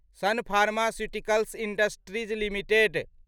सन Pharmaceuticals Industries limited